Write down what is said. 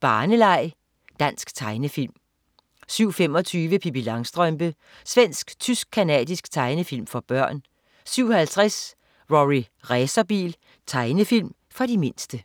barneleg. Dansk tegnefilm 07.25 Pippi Langstrømpe. Svensk-tysk-canadisk tegnefilm for børn 07.50 Rorri Racerbil. Tegnefilm for de mindste